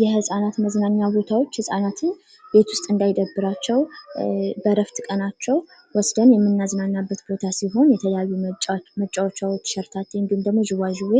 የህጻናት መዝናኛ ቦታዎች ህፃናትን ቤት ውስጥ እንዳይደብራቸው በእረፍት ቀናቸው የምናዝናናበት ሲሆን የተለያዩ መጫወቻዎች ሸርተቲ እንዲሁም ደግሞ ዥዋዥዌ